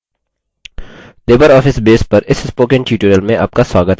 libreoffice base पर इस spoken tutorial में आपका स्वागत है